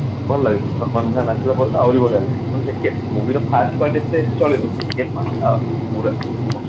ଭଲ ହେଇଛି ଆହୁରି ଭଲ ହେଇଛି ତେଣୁ ଟିକେ movie ର first part ଟା ଟିକେ ଚଲିବ second part ଟା ପୁରା mast